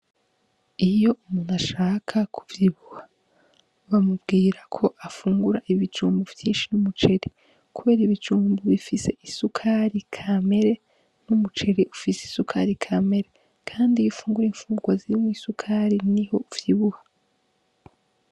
Iyo ashaka kuvyibuha bamubwira afungure ibijumbu vyinshi n'umuceri kubera ibijumbu bifise isukari kamere n'umuceri ifise kamere kandi ufunguye imfungurwa zirimwo isukari niho uvyibuha.